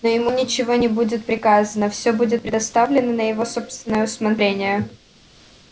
но ему ничего не будет приказано всё будет предоставлено на его собственное усмотрение